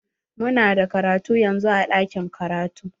Mu na da karatu yanzun a ɗakin karatu.